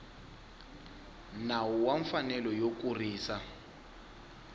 nawu wa mfanelo yo kurisa